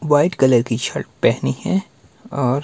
white colour की shirt पहनी है और--